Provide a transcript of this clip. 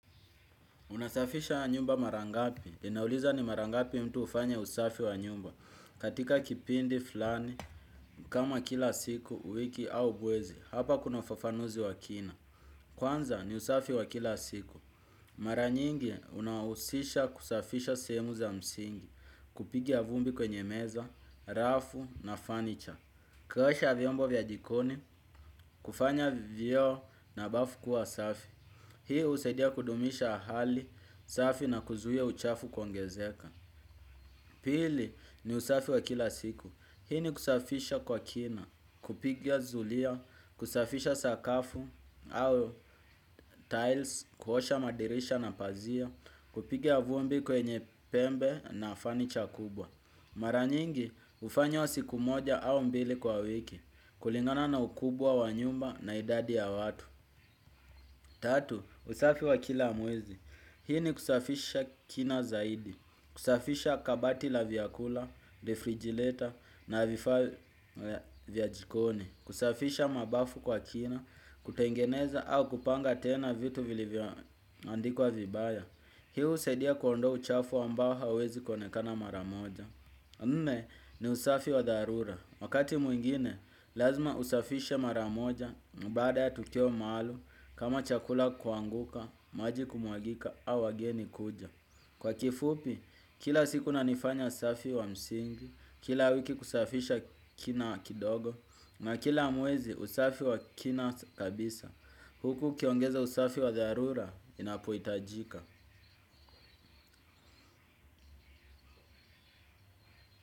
Unasafisha nyumba mara ngapi. Inauliza ni mara ngapi mtu hufanya usafi wa nyumba. Katika kipindi flani, kama kila siku, wiki au mwezi, hapa kuna ufafanuzi wa kina. Kwanza ni usafi wa kila siku. Maranyingi unawuhusisha kusafisha sehemu za msingi, kupiga vumbi kwenye meza, rafu na fanicha. Kuosha vyombo vya jikoni, kufanya vioo na bafu kuwa safi. Hii husaidia kudumisha hali safi na kuzuia uchafu kuongezeka. Pili ni usafi wa kila siku. Hii ni kusafisha kwa kina, kupiga zulia, kusafisha sakafu au tiles, kuosha madirisha na pazia, kupiga vumbi kwenye pembe na fanicha kubwa. Maranyingi, hufanywa siku moja au mbili kwa wiki. Kulingana na ukubwa wa nyumba na idadi ya watu tatu, usafi wa kila mwezi. Hii ni kusafisha kina zaidi, kusafisha kabati la vyakula, refrigilator na vifaa vya jikoni kusafisha mabafu kwa kina, kutengeneza au kupanga tena vitu vilivyo andikwa vibaya. Hii husaidia kuondoa uchafu ambao huwezi kuonekana maramoja nne ni usafi wadharura, wakati mwingine lazima usafishe maramoja, baada ya tukio maalum, kama chakula kuanguka, maji kumwagika, au wageni kuja. Kwa kifupi, kila siku na nifanya usafi wa msingi, kila wiki kusafisha kina kidogo, na kila mwezi usafi wa kina kabisa. Huku ukiongeza usafi wa dharura, inapohitajika.